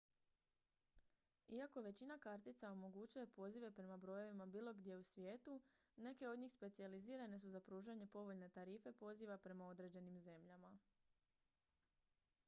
iako većina kartica omogućuje pozive prema brojevima bilo gdje u svijetu neke od njih specijalizirane su za pružanje povoljne tarife poziva prema određenim zemljama